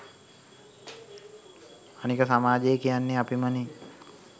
අනික සමාජය කියන්නේ අපිමනේ